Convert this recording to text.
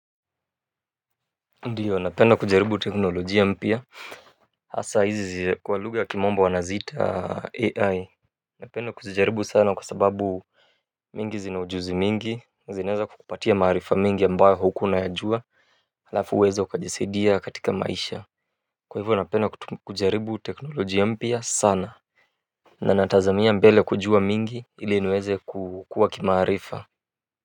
Ndiyo napenda kujaribu teknoloji ya mpya hasa hizi kwa lugha ya kimombo wanaziita AI napenda kujaribu sana kwa sababu mingi zinaujuzi mingi zinaweza kukupatia maarifa mingi ambayo hukuwa unayajua halafu uweza ukajisaidia katika maisha kwa hivyo napenda kujaribu teknoloji ya mpya sana na natazamia mbele kujua mingi ili niweze kukua kimaarifa.